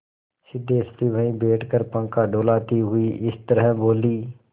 सिद्धेश्वरी वहीं बैठकर पंखा डुलाती हुई इस तरह बोली